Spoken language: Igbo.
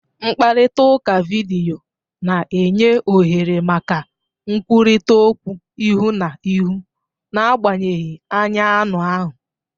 Mkparịta ụka vidiyo na-enye ohere maka nkwurịta okwu ihu na ihu, n'agbanyeghị anya anụ ahụ.